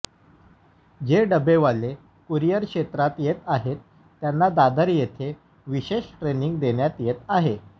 जे डबेवाले कुरिअर क्षेत्रात येत आहेत त्यांना दादर येथे विशेष ट्रेनिंग देण्यात येत आहे